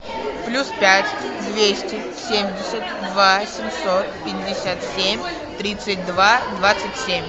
плюс пять двести семьдесят два семьсот пятьдесят семь тридцать два двадцать семь